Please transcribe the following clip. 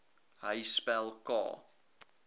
hy spel k